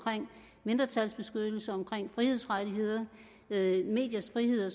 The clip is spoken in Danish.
mindretalsbeskyttelse frihedsrettigheder mediers frihed